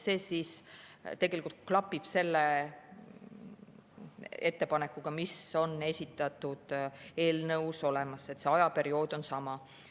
See tegelikult klapib selle ettepanekuga, mis on esitatud eelnõus olemas, ajaperiood on sama.